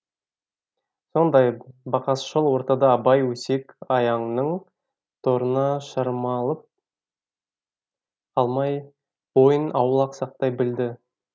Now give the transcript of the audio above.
сондай бақасшыл ортада абай өсек аяңның торына шырмалып қалмай бойын аулақ сақтай білді